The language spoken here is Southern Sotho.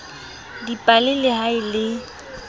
dipale le ha e le